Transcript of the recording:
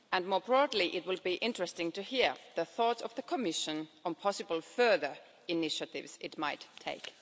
More broadly, it will be interesting to hear the thoughts of the Commission on possible further initiatives it might take.